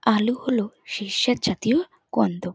আলু হলো শ্বেতসার জাতীয় কন্দ।